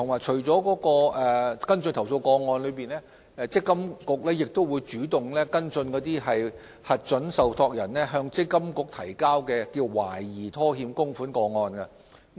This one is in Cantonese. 除跟進投訴個案，積金局亦會主動跟進核准受託人提交的懷疑拖欠供款個案。